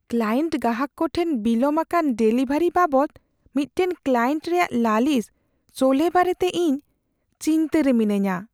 Client ᱜᱟᱦᱟᱠ ᱠᱚ ᱴᱷᱮᱱ ᱵᱤᱞᱚᱢ ᱟᱠᱟᱱ ᱰᱮᱞᱤᱵᱷᱟᱨᱤ ᱵᱟᱵᱟᱚᱫᱽ ᱢᱤᱫᱴᱟᱝ ᱠᱞᱟᱭᱮᱱᱴ ᱨᱮᱭᱟᱜ ᱞᱟᱞᱤᱥ ᱥᱚᱞᱦᱮ ᱵᱟᱨᱮᱛᱮ ᱤᱧ ᱪᱤᱱᱛᱟᱹ ᱨᱮ ᱢᱤᱱᱟᱹᱧᱼᱟ ᱾